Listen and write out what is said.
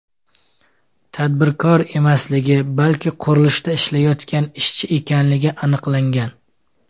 tadbirkor emasligi, balki qurilishda ishlayotgan ishchi ekanligi aniqlangan.